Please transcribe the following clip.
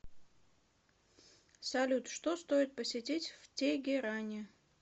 салют что стоит посетить в тегеране